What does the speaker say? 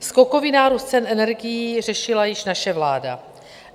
Skokový nárůst cen energií řešila již naše vláda.